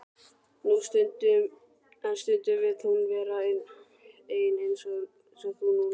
En stundum vill hún vera ein eins og þú núna.